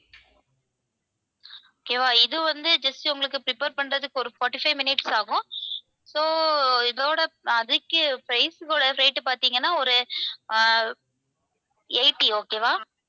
okay வா? இது வந்து just உங்களுக்கு prepare பண்றதுக்கு ஒரு forty-five minutes ஆகும். so இதோட அதுக்கு price rate பாத்தீங்கன்னா ஒரு அஹ் eighty okay வா